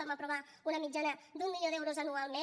vam aprovar una mitjana d’un milió d’euros anualment